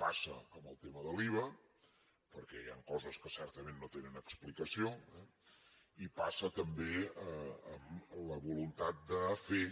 passa amb el tema de l’iva perquè hi han coses que certament no tenen explicació eh i passa també amb la voluntat de fer